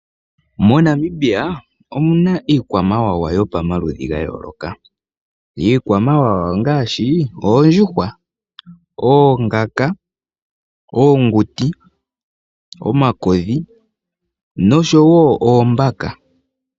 MoNamibia omuna iikwamawawa yili pamaludhi gayooloka. Iikwamawawa ongaashi oondjuhwa, oongaka, oonguti, omakodhi noshowo oombaka.